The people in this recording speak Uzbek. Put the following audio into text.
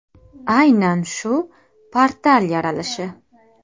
Aynan shu portal yaralishi!